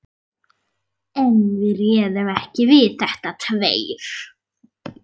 En við réðum ekki við þetta tveir.